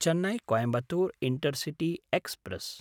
Chennai Coimbatore intercity express